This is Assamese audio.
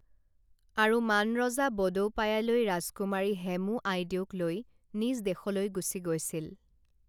আৰু মান ৰজা বডৌপায়ালৈ ৰাজকুমাৰী হেমো আইদেউক লৈ নিজ দেশলৈ গুচি গৈছিল